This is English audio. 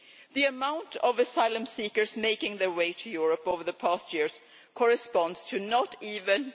The amount of asylum seekers making their way to Europe over the past few years corresponds to not even